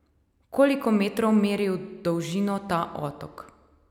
Koliko metrov meri v dolžino ta otok?